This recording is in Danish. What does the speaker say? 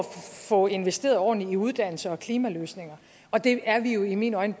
få investeret ordentligt i uddannelse og klimaløsninger og det er vi jo i mine øjne